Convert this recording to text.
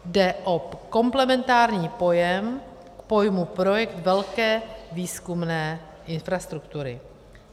Jde o komplementární pojem k pojmu projekt velké výzkumné infrastruktury.